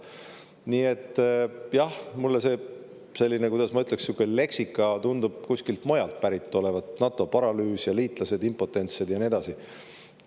Nii et, jah, mulle see selline, kuidas ma ütleks, sihuke leksika tundub kuskilt mujalt pärit olevat: NATO paralüüs ja impotentsed liitlased ja nii edasi.